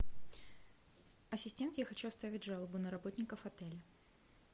ассистент я хочу оставить жалобу на работников отеля